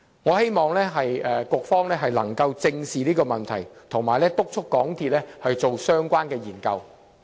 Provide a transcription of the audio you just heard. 我希望局方能夠正視這個問題，並且督促港鐵進行相關研究。